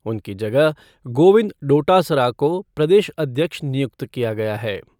उनकी जगह गोविंद डोटासरा को प्रदेश अध्यक्ष नियुक्त किया गया है।